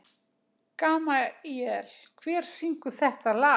Gamalíel, hver syngur þetta lag?